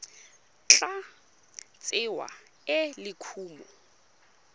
tla tsewa e le kumo